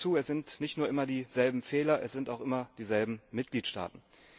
Ich füge hinzu, es sind nicht nur immer dieselben Fehler, es sind auch immer dieselben Mitgliedstaaten.